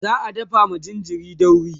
za'a dafa ma jinjirin dauri